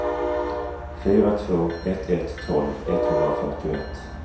fyra två ett ett tolv etthundrafyrtioett